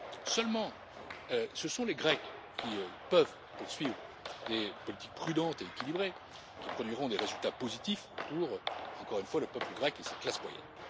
Seulement, ce sont les Grecs, qui peuvent poursuivre des politiques prudentes et équilibrées, qui produiront des résultats positifs pour, encore une fois, le peuple grec et sa classe moyenne.